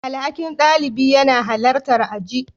Alhakin ɗalibi yana halartar aji.